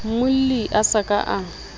molli a sa ka a